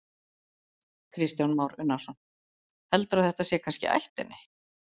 Kristján Már Unnarsson: Heldurðu að þetta sé kannski í ættinni?